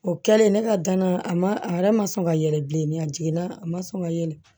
O kɛlen ne ka dana a ma a yɛrɛ ma sɔn ka yɛlɛ bilen a jiginna a ma sɔn ka yɛlɛ